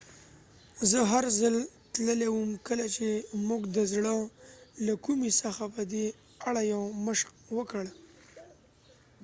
زه هرځل تللی وم کله چې موږ د زړه له کومې څخه په دې اړه یو مشق وکړ